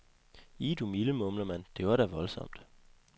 Ih, du milde, mumler man, det var da voldsomt.